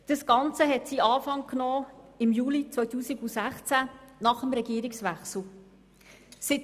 Das Ganze nahm seinen Anfang nach dem Regierungswechsel im Juli 2016.